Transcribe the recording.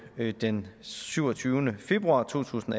den syvogtyvende februar to tusind